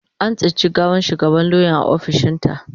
An tsinci gawar shugabar lauyan a ofishinta.